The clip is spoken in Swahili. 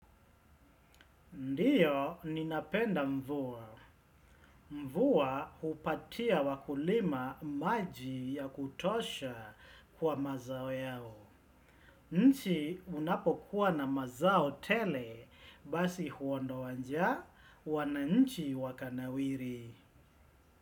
Ndiyo, ninapenda mvua. Mvua hupatia wakulima maji ya kutosha kwa mazao yao. Nchi unapokuwa na mazao tele, basi huondoa njaa, wananchi wakanawiri.